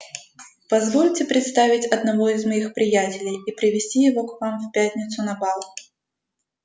позвольте представить одного из моих приятелей и привезти его к вам в пятницу на бал